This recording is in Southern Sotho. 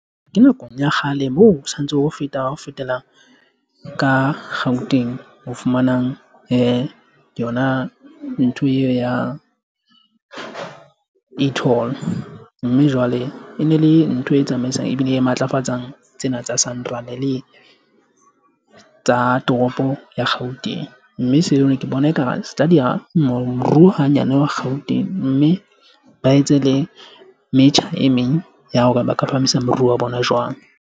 Ke nakong ya kgale moo sa ntse ha o feta o fetela ka Gauteng o fumanang yona ntho eo ya e toll mme jwale e ne le ntho e tsamaisang ebile e matlafatsang tsena tsa SANRAL tsa toropo ya Gauteng, mme seo ne ke bona ekare se tla diya moruo hanyane wa Gauteng mme ba etse le metjha e meng ya hore ba ka phahamisa moruo wa bona.